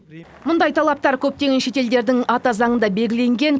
мұндай талаптар көптеген шет елдердің ата заңында белгіленген